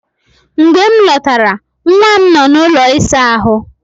Mgbe m lọtara, nwa m nọ n'ụlọ ịsa ahụ.